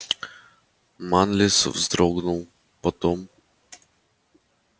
манлис вздрогнул потом